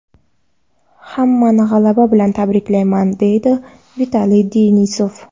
Hammani g‘alaba bilan tabriklayman”, deydi Vitaliy Denisov.